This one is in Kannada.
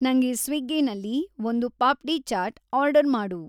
ನಂಗೆ ಸ್ವಿಗ್ಗೀನಲ್ಲಿ ಒಂದ್ ಪಾಪ್ಡೀ ಚಾಟ್ ಆರ್ಡರ್‌ ಮಾಡು